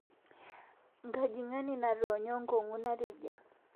Ngajingani natoonyo nkongu natejia